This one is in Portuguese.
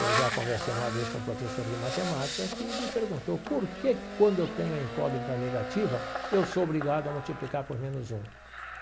Eu já conversei uma vez com um professor de matemática que me perguntou por que quando eu tenho a incógnita negativa, eu sou obrigado a multiplicar por menos um.